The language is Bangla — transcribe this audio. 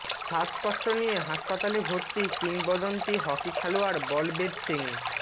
শ্বাসকষ্ট নিয়ে হাসপাতালে ভর্তি কিংবদন্তি হকি খেলোয়াড় বলবীর সিং